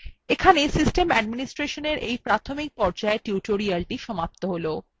এখানেই basics of system administration সংক্রান্ত এই tutorialthe সমাপ্ত হলো